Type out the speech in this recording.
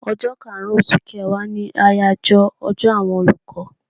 Ọjọ́ kaàrun oṣù kẹwàá ni àyájọ́ ọjọ́ àwọn olùkọ́